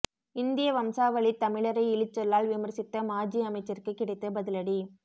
இந்திய வம்சாவளித் தமிழரை இழிசொல்லால் விமர்சித்த மாஜி அமைச்சருக்கு கிடைத்த பதிலடி